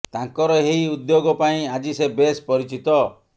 ତାଙ୍କର ଏହି ଉଦ୍ୟୋଗ ପାଇଁ ଆଜି ସେ ବେଶ୍ ପରିଚିତ